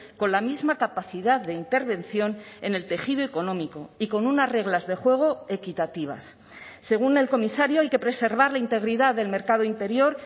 con la misma capacidad de intervención en el tejido económico y con unas reglas de juego equitativas según el comisario hay que preservar la integridad del mercado interior